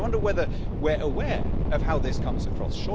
I wonder whether we're aware of how this comes across?